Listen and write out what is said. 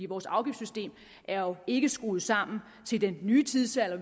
vores afgiftssystem er ikke skruet sammen til den nye tidsalder